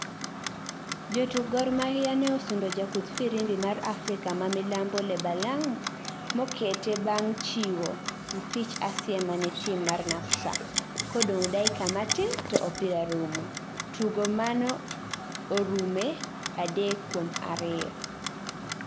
jotuk Gor Mahia ne osundo jakudg Firimbi maja afrika ma milambo Lebalang Mokete bang chiwo mpich asiema ne tim mar NAPSA kodong dakika matin toopira rumo, tugo mano orume adek kuom ariyo